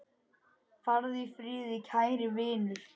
Farðu í friði, kæri vinur.